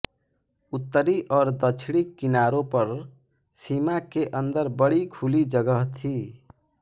उत्तरी और दक्षिणी किनारों पर सीमा के अंदर बड़ी खुली जगह थी